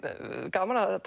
gaman að